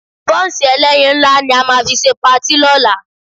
Bọ́ǹsì ẹlẹ́yin ńlá ni a máa fi ṣe patí lọ́la